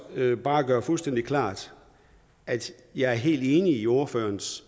bare gøre det fuldstændig klart at jeg er helt enig i ordførerens